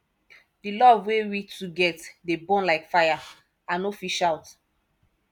di love wey we two get dey burn like fire i no fit shout